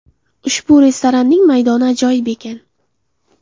Ushbu restoranning maydoni ajoyib ekan.